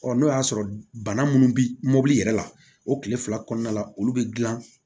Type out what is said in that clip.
n'o y'a sɔrɔ bana munnu bi mɔbili yɛrɛ la o kile fila kɔnɔna la olu bɛ gilan